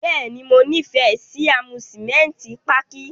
Bẹ́ẹ̀ni, Mo nifẹ si amusimenti pààki.